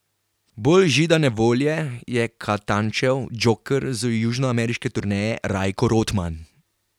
Bolj židane volje je Katančev džoker z južnoameriške turneje Rajko Rotman.